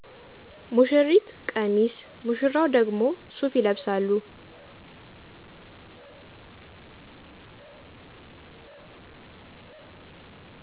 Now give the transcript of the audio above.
ሙሺሪት ቀሚስ ሙሺራው ደግሞ ሱፍ ይለብሳሉ።